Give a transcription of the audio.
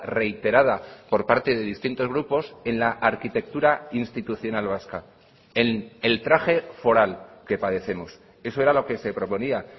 reiterada por parte de distintos grupos en la arquitectura institucional vasca el traje foral que padecemos eso era lo que se proponía